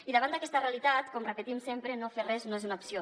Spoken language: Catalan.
i davant d’aquesta realitat com repetim sempre no fer res no és una opció